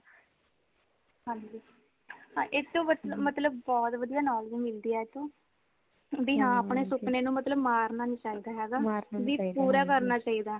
ਹਾਂਜੀ ਇੱਕ ਤੋਂ ਮਤਲਬ ਬਹੁਤ ਵਧੀਆ knowledge ਮਿਲਦੀ ਏਤੋ ,ਬਈ ਹਾਂ ਅਪਣੇ ਸੁਪਨੇ ਨੂੰ ਮਾਰਨਾ ਨਹੀਂ ਚਾਹੀਦਾ ਹੇਗਾ ਬਈ ਪੂਰਾ ਕਰਨਾ ਚਾਹੀਦਾ